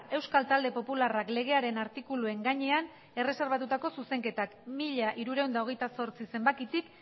euskal talde popularrak legearen artikuluen gainean erreserbatutako zuzenketak mila hirurehun eta hogeita zortzi zenbakitik